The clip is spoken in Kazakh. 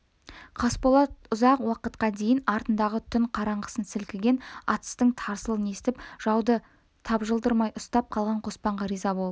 қасболат ұзақ уақытқа дейін артындағы түн қараңғысын сілкіген атыстың тарсылын естіп жауды тапжылдырмай ұстап қалған қоспанға риза болып